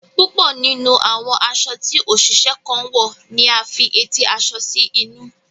Púpọ nínú àwọn aṣọ tí oṣiṣẹ kan wọ ní a fí eti aṣọ sí inú.